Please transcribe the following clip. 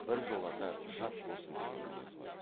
біржолата жат болсын деген мінез ғой